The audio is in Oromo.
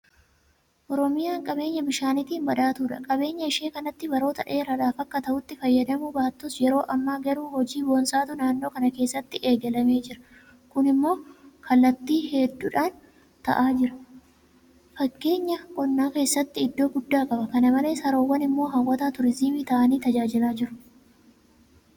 Oromiyaa qabeenya bishaaniitiin badhaatuudha. Qabeenya ishee kanatti baroota dheeraadhaaf akka ta'utti fayyadamuu baattus yeroo ammaa garuu hojii boonsaatu naannoo kana keessatti eegalamee jira. Kun immoo kallattii hedduudhaan ta'aa jira. Fakkeenyaa qonna keessatti iddoo guddaa qaba. Kana malees haroowwan immoo hawwata turiizimii ta'anii tajaajilaa jiru.